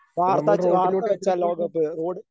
വാർത്തച്ചാ വാർത്ത വെച്ചാൽ ലോകകപ്പ് ഓടി